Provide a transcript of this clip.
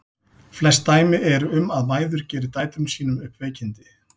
Flest dæmi eru um að mæður geri dætrum sínum upp veikindi.